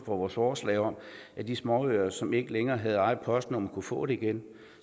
for vores forslag om at de småøer som ikke længere havde eget postnummer kunne få det igen